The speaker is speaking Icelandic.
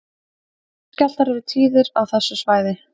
Jarðskjálftar eru tíðir á þessu svæði